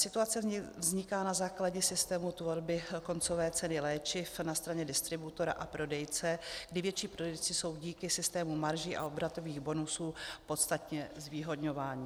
Situace vzniká na základě systému tvorby koncové ceny léčiv na straně distributora a prodejce, kdy větší prodejci jsou díky systému marží a obratových bonusů podstatně zvýhodňováni.